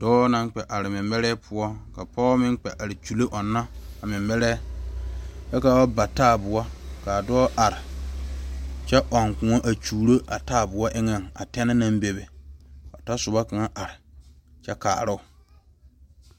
Dɔɔ naŋ kpɛ are mɛmɛre poɔ ka pɔge meŋ Kyuule are a ɔnna a mɛmɛre kyɛ ka ba bataayɛboɔ kaa dɔɔ are a ɔŋ kõɔ a kyuuro a taayɛdoɔ eŋa a tasoba are kyɛ kaaro.